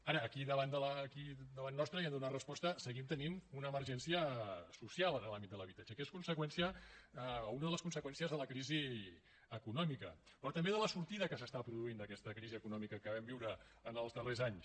ara aquí davant nostre i hi hem de donar resposta seguim tenint una emergència social en l’àmbit de l’habitatge que és conseqüència o una de les conseqüències de la crisi econòmica però també de la sortida que s’està produint d’aquesta crisi econòmica que vam viure en els darrers anys